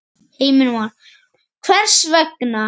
Heimir Már: Hvers vegna?